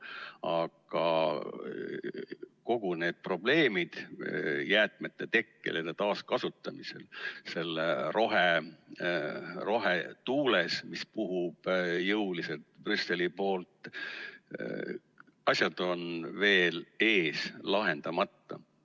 Aga kõik need probleemid jäätmete tekkel ja nende taaskasutamisel, selles rohetuules, mis puhub jõuliselt Brüsseli poolt – asjad on veel ees ja lahendamata.